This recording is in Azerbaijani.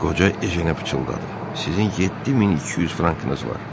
Qoca Ejenə pıçıldadı: "Sizin 7200 frankınız var."